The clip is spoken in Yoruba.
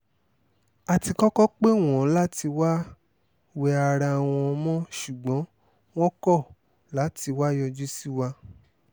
a ti kọ́kọ́ pè wọ́n láti wáá wẹ ara wọn mọ́ ṣùgbọ́n wọ́n kọ̀ láti wáá yọjú sí wa